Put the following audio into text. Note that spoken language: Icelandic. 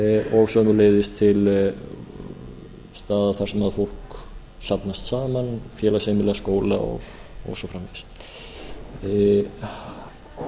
og sömuleiðis til staða þar sem fólk safnast saman félagsheimila skóla og svo framvegis